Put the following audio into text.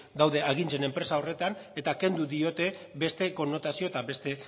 daude agintzen enpresa horretan eta kendu egin diote beste konnotazio eta beste